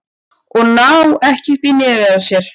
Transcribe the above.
Að ná ekki upp í nefið á sér